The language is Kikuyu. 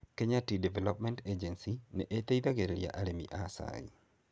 Kenya Tea Development Agency nĩ ĩteithagĩrĩria arĩmi a cai.